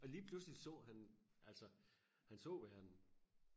og lige pludselig så han altså han så verden